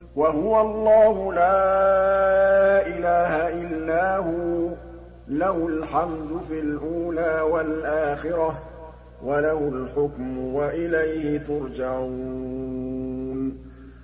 وَهُوَ اللَّهُ لَا إِلَٰهَ إِلَّا هُوَ ۖ لَهُ الْحَمْدُ فِي الْأُولَىٰ وَالْآخِرَةِ ۖ وَلَهُ الْحُكْمُ وَإِلَيْهِ تُرْجَعُونَ